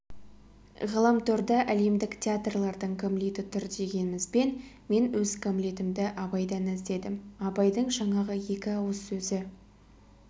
ғаламторда әлемдік театрлардың гамлеті тұр дегенімізбен мен өз гамлетімді абайдан іздедім абайдың жаңағы екі ауыз сөзі